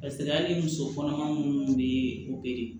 Paseke hali muso kɔnɔma minnu bɛ